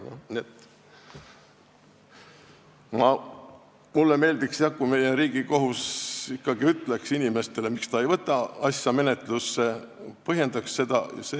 Nii et mulle meeldiks jah, kui Riigikohus ikkagi ütleks inimestele, miks ta ei võta asja menetlusse, mulle meeldiks, kui ta seda põhjendaks.